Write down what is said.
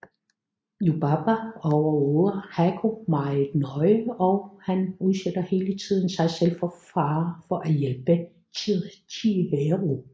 Yubaba overvåger Haku meget nøje og han udsætter hele tiden sig selv for fare for at hjælpe Chihiro